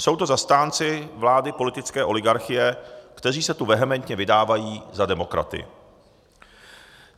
Jsou to zastánci vlády politické oligarchie, kteří se tu vehementně vydávají za demokraty.